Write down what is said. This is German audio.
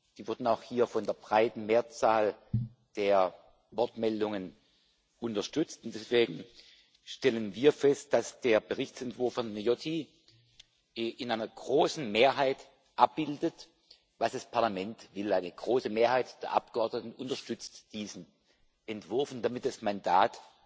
die wurden auch hier von der breiten Mehrzahl der Wortmeldungen unterstützt, und deswegen stellen wir fest, dass der Berichtsentwurf von Viotti in einer großen Mehrheit abbildet, was das Parlament will. Eine große Mehrheit der Abgeordneten unterstützt diesen Entwurf und damit das Mandat